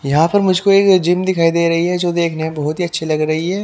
यहां पर मुझको एक जिम दिखाई दे रही है जो देखने में बहुत ही अच्छी लग रही है।